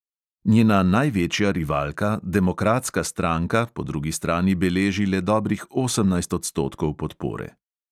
Njena največja rivalka, demokratska stranka, po drugi strani beleži le dobrih osemnajst odstotkov podpore.